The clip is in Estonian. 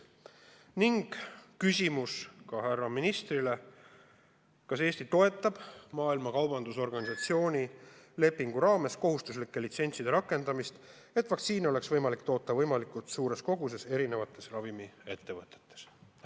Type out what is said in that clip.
Viimane küsimus härra ministrile kõlab nii: kas Eesti toetab Maailma Kaubandusorganisatsiooni lepingu raames kohustuslike litsentside rakendamist, et vaktsiine oleks võimalik toota võimalikult suures koguses eri ravimiettevõtetes?